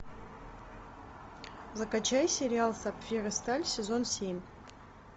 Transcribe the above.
закачай сериал сапфир и сталь сезон семь